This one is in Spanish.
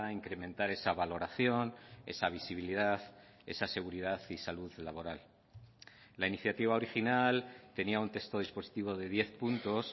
incrementar esa valoración esa visibilidad esa seguridad y salud laboral la iniciativa original tenía un texto dispositivo de diez puntos